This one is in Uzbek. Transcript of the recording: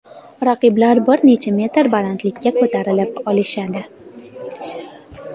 Raqiblar bir necha metr balandlikka ko‘tarilib olishadi.